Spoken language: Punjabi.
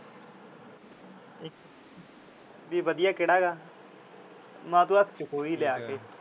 ਵੀ ਵਧੀਆ ਕਿਹੜਾ ਗਾ? ਮੈਂ ਕਿਹਾ ਤੂੰ ਹੱਥ ਚੋਂ ਖੋਹ ਹੀ ਲਿਆ ਆ ਕੇ।